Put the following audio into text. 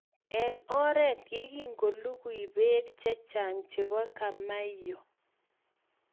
Eng oret ye kingolugui Bek chechang chebo kamaiyo